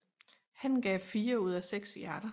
Han gav fire ud af seks hjerter